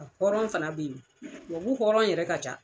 A hɔrɔn fana be ye, tubabu hɔrɔn yɛrɛ ka ca.